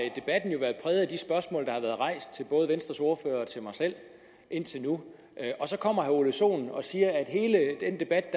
de spørgsmål der har været rejst til både venstres ordfører og til mig selv indtil nu og så kommer herre ole sohn og siger at hele den debat